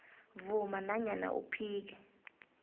vuma nanyana uphike